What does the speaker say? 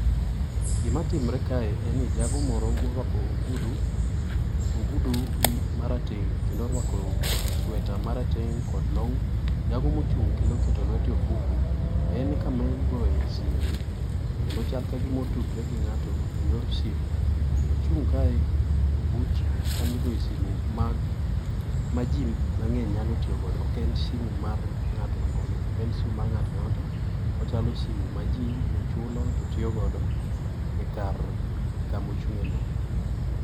Gima timre kae en ni jago moro morwako ogudu ogudu marateng' kendo orwako sweta marateng kod long, jago mochung kendo oketo lwete e ofuku. en kama iogoye simu kendo chal kagima otudre gi ng'ato eyor simu. Ochung' kae ebut kamigoye simu mag maji mang'eny nyalo tiyo godo ok en sim mar ng'ato nono ok en sim mar ng'ata ang'ata ochalo simu maji chulo to tiyogodo ekar ekamochung'e no